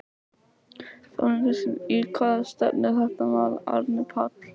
Þóra Kristín: Í hvað stefnir þetta mál Árni Páll?